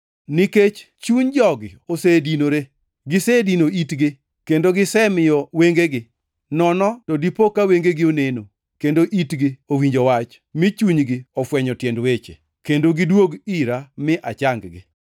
Nikech chuny jogi osedinore; gisedino itgi, kendo gisemiyo wengegi. Nono to dipo ka wengegi oneno, kendo itgi owinjo wach; mi chunygi ofwenyo tiend weche, kendo gidwog ira mi achang-gi.’ + 13:15 \+xt Isa 6:9,10\+xt*